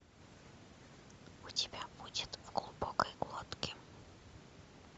у тебя будет в глубокой глотке